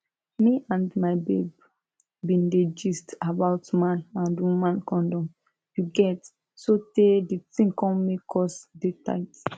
me and my babe been dey gist about man and woman condom you get sotey di tin come make us dey tight